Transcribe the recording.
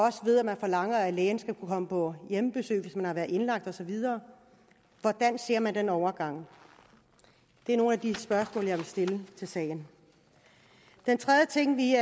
ved at man forlanger at lægen skal kunne komme på hjemmebesøg hvis man har været indlagt osv hvordan ser man den overgang det er nogle af de spørgsmål jeg vil stille til sagen den tredje ting vi